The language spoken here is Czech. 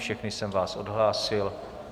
Všechny jsem vás odhlásil.